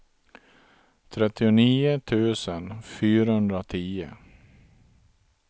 trettionio tusen fyrahundratio